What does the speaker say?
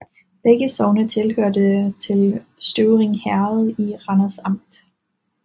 Begge sogne hørte til Støvring Herred i Randers Amt